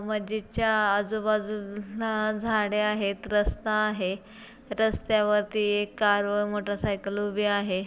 मस्जिद च्या आजूबाजू ला झाडे आहेत. रस्ता आहे. रस्त्यावरती एक कार व मोटरसाइकल उभी आहे.